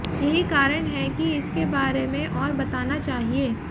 यही कारण है कि इसके बारे में और बताना चाहिए